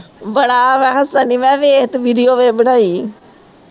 ਬੜਾ ਮੈ ਹੱਸਣ ਦੀ ਮੈ ਕਿਹਾ ਵੇਖ ਕੇ video ਵੇਖ ਬਣਾਈ